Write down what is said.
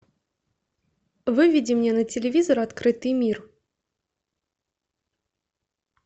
выведи мне на телевизор открытый мир